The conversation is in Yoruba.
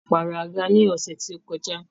A pààrọ̀ àga ní ọ̀sẹ́ tí ó kọjá.